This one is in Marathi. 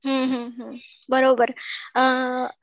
बरोबर